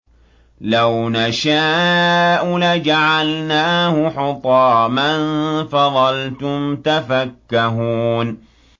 لَوْ نَشَاءُ لَجَعَلْنَاهُ حُطَامًا فَظَلْتُمْ تَفَكَّهُونَ